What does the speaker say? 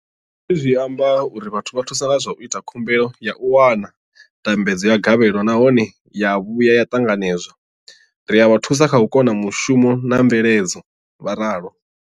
Hezwi zwi amba uri ri vha thusa nga zwa u ita khumbelo ya u wana ndambedzo ya gavhelo nahone ya vhuya ya ṱanganedzwa, ri a vha thusa kha u thoma mushumo na mveledzo, vho ralo.